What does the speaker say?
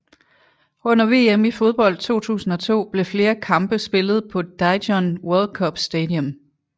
Under VM i fodbold 2002 blev flere kampe spillet på Daejeon World Cup Stadium